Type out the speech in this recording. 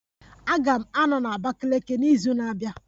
Aga m anọ na Abakiliki n'izu na-abịa